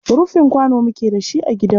Rufin kwano muke da shi a gidanmu.